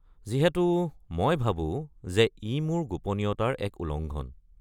যিহেতু মই ভাবো যে ই মোৰ গোপনীয়তাৰ এক উলংঘন।